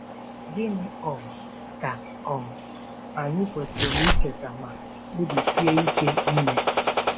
Gịnị um ka um anyị kwesịrị icheta ma kpebisie ike ime?